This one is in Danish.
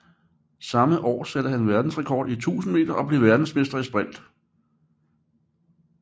Samme år satte han verdensrekord i 1000 meter og blev verdensmester i sprint